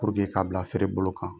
ka bila feere bolo kan.